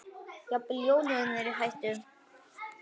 Jafnvel jólin eru í hættu.